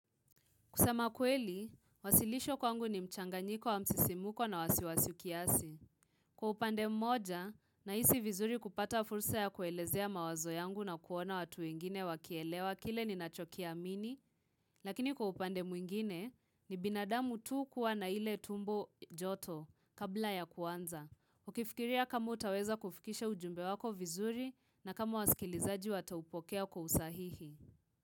Kusema kweli, wasilisho kwangu ni mchanganyiko wa msisimuko na wasiwasi kiasi. Kwa upande mmoja, nahisi vizuri kupata fursa ya kuelezea mawazo yangu na kuona watu wengine wakielewa kile ninachokiamini, lakini kwa upande mwingine, ni binadamu tu kuwa na ile tumbo joto kabla ya kuanza. Ukifikiria kama utaweza kufikisha ujumbe wako vizuri na kama wasikilizaji wataupokea kwa usahihi.